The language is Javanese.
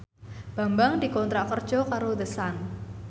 Bambang dikontrak kerja karo The Sun